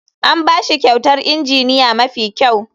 An ba shi kyautar injiniya mafi kyau.